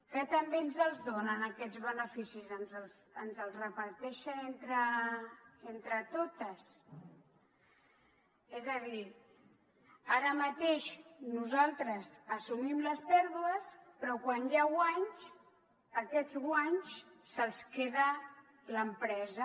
que també ens els donen aquests beneficis ens els reparteixen entre totes és a dir ara mateix nosaltres assumim les pèrdues però quan hi ha guanys aquests guanys se’ls queda l’empresa